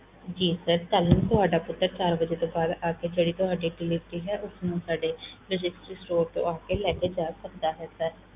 ਜੀ sir ਕੱਲ੍ਹ ਨੂੰ ਤੁਹਾਡਾ ਪੁੱਤਰ ਚਾਰ ਵਜੇ ਤੋਂ ਬਾਅਦ ਆ ਕੇ ਜਿਹੜੀ ਤੁਹਾਡੀ delivery ਹੈ, ਉਸ ਨੂੰ ਸਾਡੇ logistic store ਤੋਂ ਆ ਕੇ ਲੈ ਕੇ ਜਾ ਸਕਦਾ ਹੈ sir